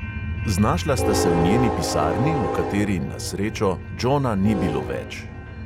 Znašla sta se v njeni pisarni, v kateri, na srečo, džona ni bilo več.